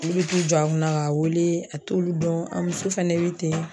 Olu bɛ t'u jɔ a kunna k'a wele a t'olu dɔn, a muso fɛnɛ bɛ ten.